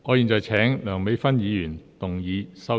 我現在請梁美芬議員動議修正案。